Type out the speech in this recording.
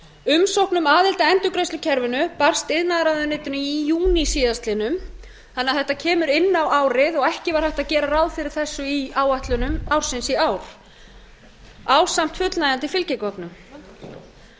umsókn um aðild að endurgreiðslukerfi barst iðnaðarráðuneytinu í júní síðastliðinn þannig að þetta kemur inn á árið og ekki var hægt að gera ráð fyrir þessu í áætlunum ársins í ár ásamt fullnægjandi fylgigögnum án þess